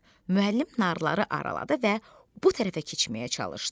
Deyib müəllim narları araladı və bu tərəfə keçməyə çalışdı.